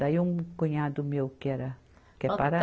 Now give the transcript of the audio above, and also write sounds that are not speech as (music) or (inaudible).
Daí um cunhado meu que era (unintelligible)